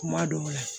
Kuma dɔw la